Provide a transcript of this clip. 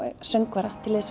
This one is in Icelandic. söngvara til liðs